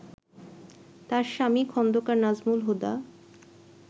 তাঁর স্বামী খোন্দকার নাজমুল হুদা